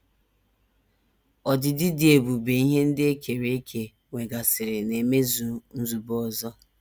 Ọdịdị dị ebube ihe ndị e kere eke nwegasịrị na - emezu nzube ọzọ.